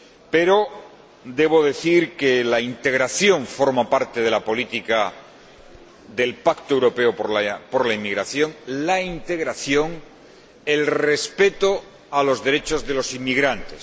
Pero debo decir que la integración forma parte de la política del pacto europeo por la inmigración, la integración, el respeto a los derechos de los inmigrantes.